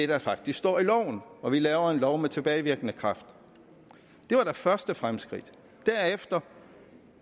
der faktisk står i loven og vi laver en lov med tilbagevirkende kraft det var da første fremskridt derefter